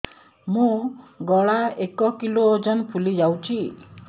ମୋ ଗଳା ଏକ କିଲୋ ଓଜନ ଫୁଲି ଯାଉଛି